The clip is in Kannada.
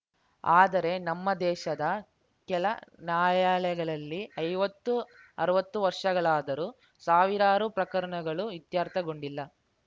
ಆದರೆ ನಮ್ಮ ದೇಶದ ಕೆಳ ನ್ಯಾಯಾಲಯಗಳಲ್ಲಿ ಐವತ್ತು ಅರ್ವತ್ತು ವರ್ಷಗಳಾದರೂ ಸಾವಿರಾರು ಪ್ರಕರಣಗಳು ಇತ್ಯರ್ಥಗೊಂಡಿಲ್ಲ